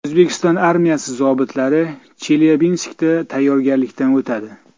O‘zbekiston armiyasi zobitlari Chelyabinskda tayyorgarlikdan o‘tadi.